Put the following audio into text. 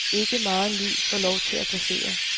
Ikke megen lyd får lov til at passere.